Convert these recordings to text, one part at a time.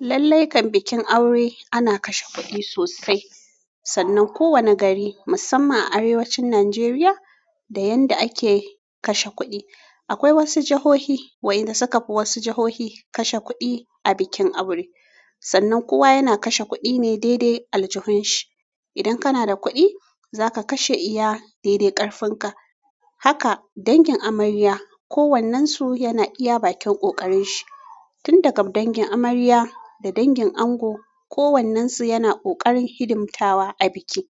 Lallai kan bikin aure ana kashe kuɗi sosai, sannan kowane gari musamman a arewacin Najeriya da yanda ake kashe kuɗi. Akwai wasu jahohi wa'inda suka fi wasu jahohi kashe kuɗi a bikin aure. Sannan kowa yana kashe kuɗi ne daidai aljihunshi. Idan kana da kuɗi zaka kashe iya daidai ƙarfin ka. Haka dangin amarya ko wannansu yana iya bakin ƙoƙarinshi. Tun daga dangin amarya da dangin ango kowannansu yana ƙoƙarin hidim tawa a biki.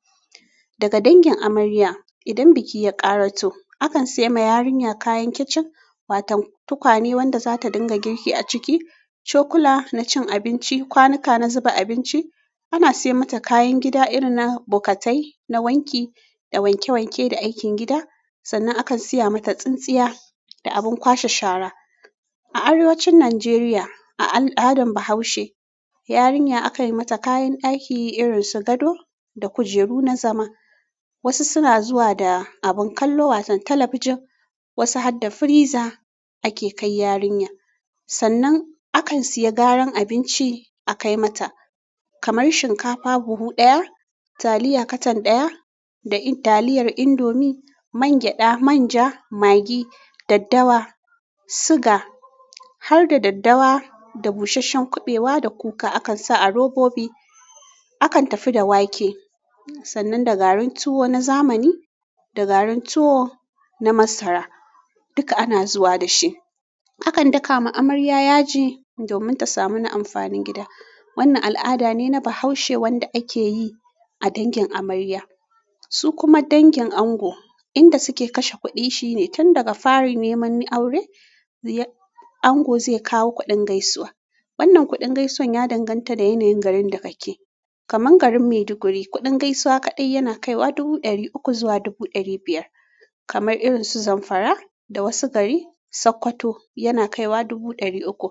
Daga dangin amarya idan biki ya ƙaraso akan saima yarinya kayan kicin watau tukwane wanda zata ɗinga girki a ciki, cokula na cin abinci, kwanuka na zuba abinci, ana sai mata kayan gida irin na bokatai, na wanki da wanke wanke da aikin gida sannan akan siya mata tsintsiya da abun kwashe shara. A arewacin Nigeria a al'adan bahaushe yarinya akayi mata kayan ɗaki irin su gado da kujeru na zama. Wasu suna zuwa da abun kallo watan talabijin wasu har da firiza ake kai yarinya. Sannan akan siya garan abinci a kai mata kamar shinkafa buhu ɗaya, taliya katan ɗaya da in taliyar indomi, man gyaɗa, manja, magi, daddawa, siga har da daddawa da bushashshen kuɓewa da kuka akan sa a robobi. Akan tafi da wake sannan da garin tuwo na zamani da garin tuwo na masara duka ana zuwa dashi. Akan daka ma amarya yaji domin ta samu na amfanin gida. Wannan al'ada ne na bahaushe wanda akeyi a dangin amarya. Su kuma dangin ango inda suke kashe kuɗi shine tun daga fari neman aure, ango zai kawo kuɗin gaisuwa. Wannan kuɗin gaisuwan ya danganta da yanayin garin da kake. Kamar garin Maiduguri kuɗin gaisuwa kaɗai yana kaiwa dubu ɗari uku zuwa dubu ɗari biyar. Kamar irin su Zamfara da wasu gari Sokoto yana kaiwa dubu ɗari uku.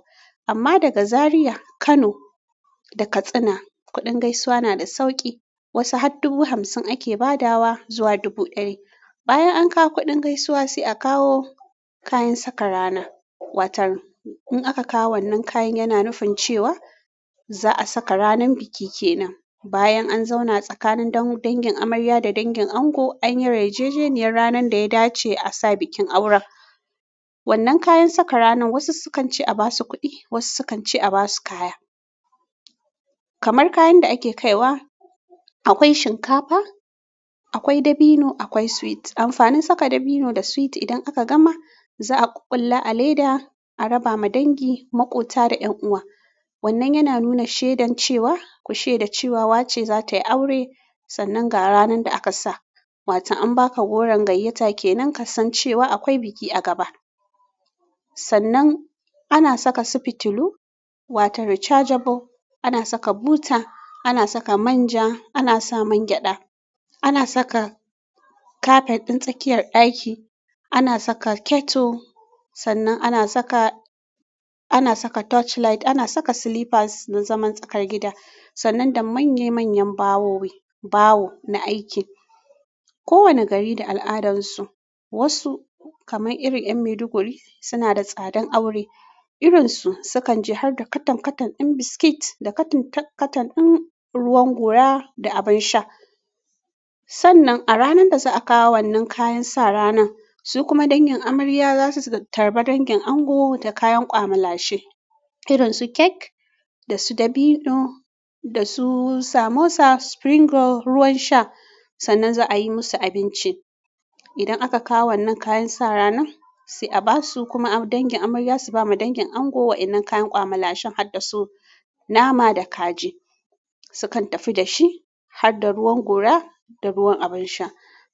Amma daga Zaria, Kano da Katsina kuɗin gaisuwa nada sauƙi wasu har dubu hamsin ake ba dawa zuwa dubu ɗari. Bayan an kawo kuɗin gaisuwa sai a kawo kayan saka rana watan in aka kawo wannan kayan yana nufin cewa za'a saka ranan biki kenan. Bayan an zauna tsakanin dangin amarya da dangin ango anyi yarjejeniyar ranan da ya dace a sa bikin auren. Wannan kayan saka ranan wasu sukan ce a basu kuɗi wasu sukan ce a basu kaya. Kamar kayan da ake kaiwa akwai shinkafa, akwai dabino akwai sweet. Amfanin saka dabino da sweet idan aka gama za'a ƙuƙƙulla a leda a raba ma dangi, maƙota da ƴan uwa. Wannan yana nuna shaidan cewa ku sheda cewa wance zatayi aure sannan ga ranan da aka sa. Watan an baka goron gayyata kenan kasan cewa akwai biki a gaba. Sannan ana saka su fitulu wata rechargeable, ana saka buta, ana saka manja, ana sa man gyaɗa, ana saka kafet ɗin tsakiyar ɗaki, ana saka kettle sannan ana saka, ana saka torchlight, ana saka slippers na zaman tsakar gida sannan da manya manyan bawowi, bawo na aiki. Kowane gari da al'adansu wasu kamar irin 'yan Maiduguri suna da tsadan aure. Irinsu sukan ji har da katan katan ɗin biskit da katan katan ɗin ruwan gora da abin sha. Sannan a ranan da za'a kawo wannan kayan sa ranan su kuma dangin amarya zasu tarba dangin ango da kayan kwama lashe irin su cake da su dabino da su samosa, spring roll, ruwan sha sannan za'a yi musu abinci. Idan aka kawo wannan kayan sa ranan sai a basu kuma dangin amarya su bama dangin ango wa'inan kayan kwamalshen har da su nama da kaji. Sukan tafi dashi har da ruwan gora da ruwan abin sha.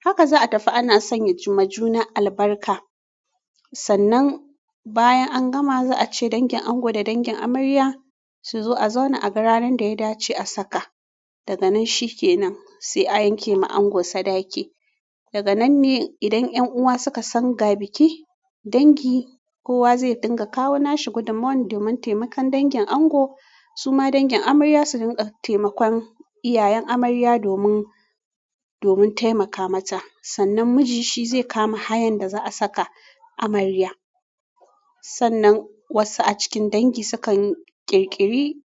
Haka za'a tafi ana sanya juna-juna albarka. Sannan bayan an gama za'a ce dangin ango da dangin amarya suzo a zauna a ga ranan da ya dace a saka. Daga nan shikenan sai a yanke ma ango sadaki. Daga nan ne idan ƴan uwa suka san ga biki, dangi kowa zai dinga kawo nashi gudummawan domin taimakon dangin ango su ma dangin amarya su rinka taimakon iyayen amarya domin, domin taimaka mata. Sannan miji shi zai kama hayan da za'a saka amarya. Sannan wasu a cikin dangi sukan yi ƙirƙiri.